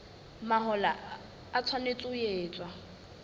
mahola e tshwanetse ho etswa